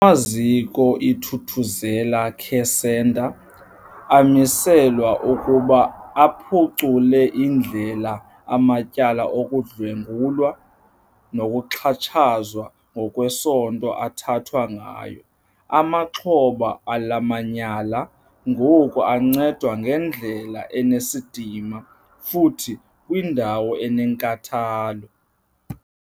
Amaziko iThuthuzela Care Centre amiselwa ukuba aphucule indlela amatyala okudlwengulwa nokuxhatshazwa ngokwesondo athathwa ngayo. Amaxhoba ala manyala ngoku ancedwa ngendlela enesidima futhi kwiindawo enenkathalo.